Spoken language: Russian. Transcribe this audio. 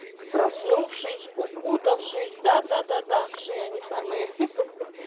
проснувшись укутавшись да да да да вши они самые